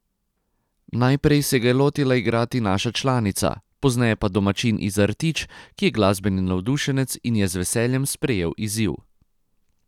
Najprej se ga je lotila igrati naša članica, pozneje pa domačin iz Artič, ki je glasbeni navdušenec in je z veseljem sprejel izziv.